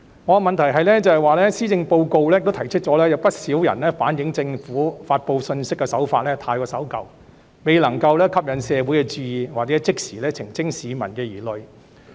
我的問題是，施政報告提到，不少人反映政府發布信息的手法太守舊，而未能吸引社會注意或即時澄清市民的疑慮。